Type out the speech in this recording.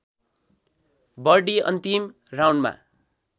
birdie अन्तिम राउन्डमा